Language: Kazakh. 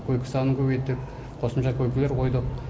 койка санын көбейтіп қосымша койкілер қойдық